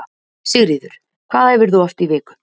Sigríður: Hvað æfirðu oft í viku?